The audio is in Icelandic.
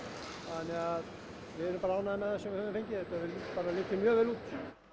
þannig að við erum bara ánægð með það sem við höfum fengið þetta hefur bara litið mjög vel út